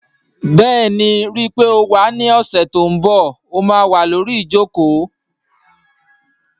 Bẹ́ẹ̀ni, ríi pé o wá ní ọ̀sẹ̀ tó n bọ̀, ó má wà lórí ìjòkó